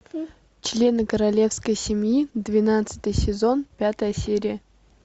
члены королевской семьи двенадцатый сезон пятая серия